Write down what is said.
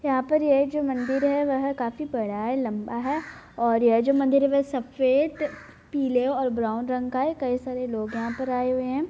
यहाँ पर ये जो मंदिर है वह काफी बड़ा है लम्बा है और यह जो मंदिर है वह सफ़ेद पीले और ब्राउन रंग का है कई सारे लोग यहाँ पे आए हुए हैं।